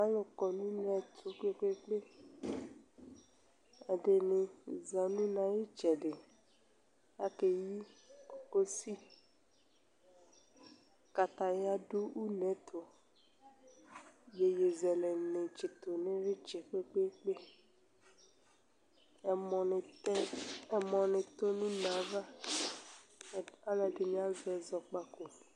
alu kɔ nu unɛtu kpekpekpe, ɛdinɩ za nu une ayu ɩtsɛdɩ akeyi kosi, kataya du unɛtu iyezɛlɛ ni tsue nu une kpekpekpe ɛmɔ nɩ tɔ nu uneyɛ ava, aluɛdinɩ azɛ ɔkpaku